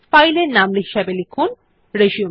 ফাইলের নাম হিসাবে লিখুন রিসিউম